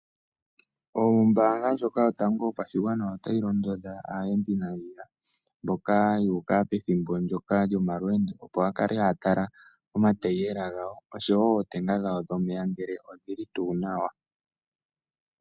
Ombaanga ndjoka yotango yopashigwana otayi londodha aayendi nandjila mboka yuuka pethimbo ndyoka lyo malweendo opo ya kale haya tala omatayela gawo oshowo ootenga dhawo dhomeya odhili tuu nawa.